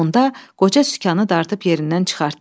Onda qoca sükanı dartıb yerindən çıxartdı.